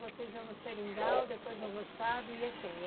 Vocês iam no Seringal, depois no roçado, ia quem?